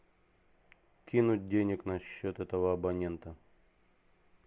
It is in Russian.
кинуть денег на счет этого абонента